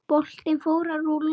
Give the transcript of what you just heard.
Boltinn fór að rúlla.